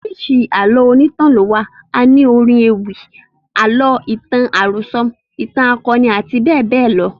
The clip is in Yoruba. Oríṣiríṣi Àlọ́ onítàn ni ó wà. A ní orin ewì, àlọ́, ìtàn àròso, ìtàn akoni àti bẹ́ẹ̀ bẹ́ẹ̀ lọ.